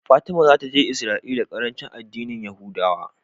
Fatima zata je Israel la karanci a dinnin yahudawa